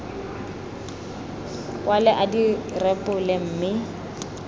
kwale a di rebole mme